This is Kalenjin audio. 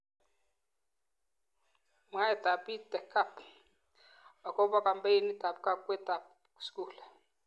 Mwaiteab EdTech Hub akob kampenitab kawekwetab skul